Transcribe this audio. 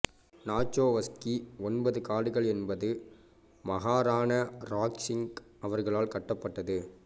நாச்சோவ்ஸ்கி ஒன்பது காடுகள் என்பது மஹாராணா ராஜ் சிங் அவர்களால் கட்டப்பட்டது